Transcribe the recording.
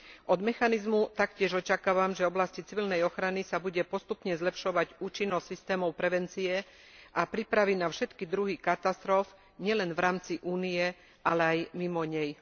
Od mechanizmu taktiež očakávam, že v oblasti civilnej ochrany sa bude postupne zlepšovať účinnosť systémov prevencie a prípravy na všetky druhy katastrof, nielen v rámci Únie, ale aj mimo nej.